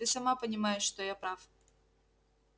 ты сама понимаешь что я прав